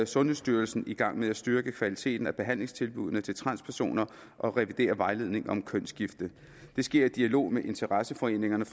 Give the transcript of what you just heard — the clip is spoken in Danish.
sundhedsstyrelsen i gang med at styrke kvaliteten af behandlingstilbuddene til transpersoner og revidere vejledningen om kønsskifte det sker i dialog med interesseforeningerne